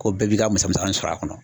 Ko bɛɛ b'i ka musa musakanin sɔrɔ a kɔnɔ.